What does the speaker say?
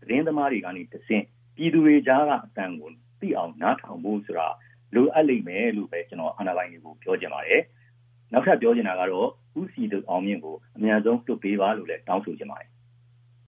သတင်းသမားတွေကနေတဆင့် ပြည်သူတွေကြားကအသံကို သိအောင်နားထောင်ဖို့ဆိုတာ လိုအပ်လိမ့်မယ်"လို့ပဲ ကျနော် အာဏာပိုင်တွေကိုပြောချင်ပါတယ်။ နောက်ထပ်ပြောချင်တာကတော့ ဦးစည်သူအောင်မြင့်ကို အမြန်ဆုံးလွှတ်ပေးပါလို့ပဲ တောင်းဆိုချင်ပါတယ်။